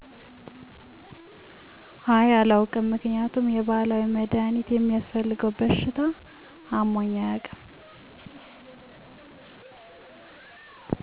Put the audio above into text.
አይ አላዉቅም ምክንያቱም የባህላዊ መድሀኒት የሚያስፈልገዉ በሽታ አሞኝ አያዉቅም።